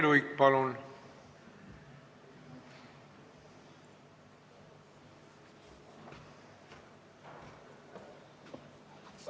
Lauri Luik, palun!